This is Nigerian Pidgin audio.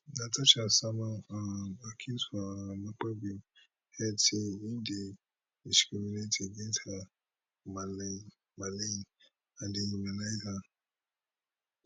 natasha sama um accuse for um akpabio head say im dey discriminate against her malign and dehumanise her